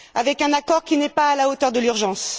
avec un accord qui n'est pas à la hauteur de l'urgence.